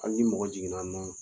Hali ni mɔgɔ jiginna nɔ